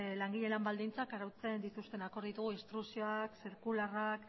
langile lan baldintzak arautzen dituzten akordio instrukzioak zirkularrak